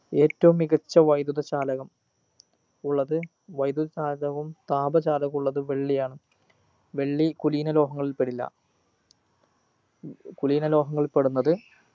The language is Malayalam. ഏറ്റവും മികച്ച വൈദ്യുത ചാലകം ഉള്ളത് വൈദ്യുത ചാലകവും താപ ചാലകവും ഉള്ളത് വെള്ളിയാണ് വെള്ളി കുലീന ലോഹങ്ങളിൽ പെടില്ല കുലീന ലോഹങ്ങളിൽ പെടുന്നത്